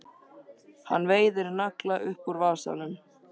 Hann veiðir nagla upp úr vasanum.